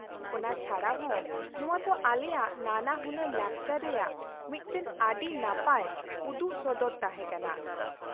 ᱚᱱᱟ ᱪᱷᱟᱰᱟ ᱦᱚᱸ ᱱᱚᱶᱟ ᱫᱚ ᱟᱞᱮᱭᱟᱜ ᱱᱟᱱᱟᱦᱩᱱᱟᱹᱨ ᱞᱟᱠᱪᱟᱨ ᱨᱮᱭᱟᱜ ᱢᱤᱫᱴᱟᱝ ᱟᱹᱰᱤ ᱱᱟᱯᱟᱭ ᱩᱫᱩᱜ ᱥᱚᱫᱚᱨ ᱛᱟᱦᱮᱸ ᱠᱟᱱᱟ ᱾